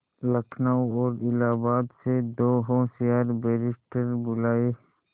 लखनऊ और इलाहाबाद से दो होशियार बैरिस्टिर बुलाये